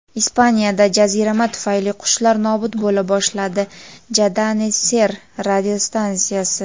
Ispaniyada jazirama tufayli qushlar nobud bo‘la boshladi – "Cadena Ser" radiostansiyasi.